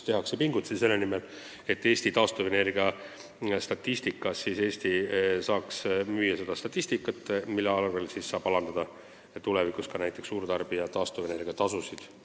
Tehakse pingutusi selle nimel, et Eesti saaks müüa taastuvenergia statistika koguseid, tänu millele saab tulevikus alandada näiteks ka suurtarbija taastuvenergia tasusid.